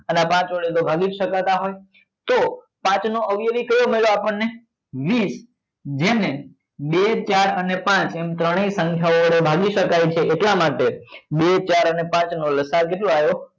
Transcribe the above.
અને પાંચ વડે તો ભાગી સકતા જ હોય તો પાંચ નો અવયવી કયો મળ્યો આપણને વીસ જેને બે ચાર અને પાંચ એમ ત્રણેય સંખ્યા ઓ વડે ભાગી સકાય છે એટલા માટે બે ચાર અને પાંચ નો લસા કયો આવે